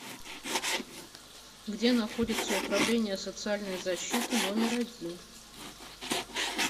где находится управление социальной защиты номер один